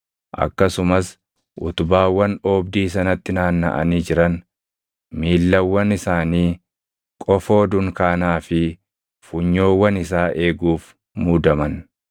akkasumas utubaawwan oobdii sanatti naannaʼanii jiran, miillawwan isaanii, qofoo dunkaanaa fi funyoowwan isaa eeguuf muudaman.